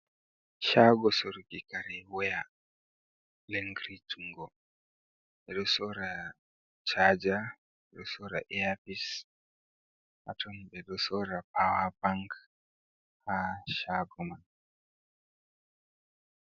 Shago sorgo kare waya lingri jungo, ɓeɗo sora waya caja ɓeɗo sora eafis haton ɓeɗo sora pawa bank ha shagoman.